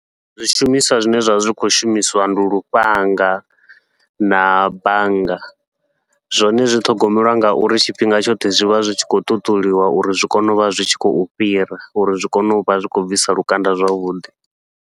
Zwishumiswa zwine zwa vha zwi khou shumisiwa ndi lufhanga na bannga, zwone zwi ṱhogomeliwa ngauri tshifhinga tshoṱhe zwi vha zwi tshi khou ṱuṱuliwa uri zwi kone uvha zwi tshi khou fhira, uri zwi kone uvha zwi khou bvisa lukanda zwavhuḓi.